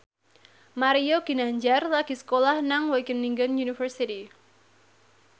Mario Ginanjar lagi sekolah nang Wageningen University